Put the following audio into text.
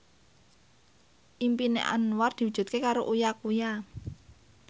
impine Anwar diwujudke karo Uya Kuya